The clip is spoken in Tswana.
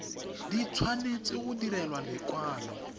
di tshwanetse go direlwa lekwalo